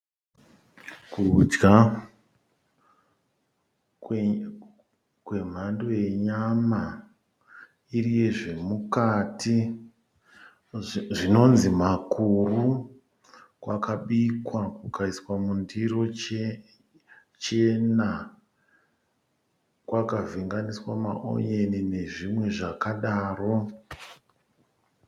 Kudya kwemhando yenyama iri yezvemukati zvinonzi makuru kwakabikwa kukaiswa mundiro chena kwakavhenganiswa maonyeni nezvimwe zvakadaro.